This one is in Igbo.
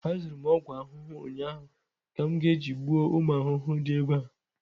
azụrụ m ogwu ahụhụ ụnyahụ ka m ga-eji gbuo ụmụ ahụhụ di ebe a